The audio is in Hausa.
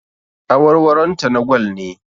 Awarwaronta na gwal ne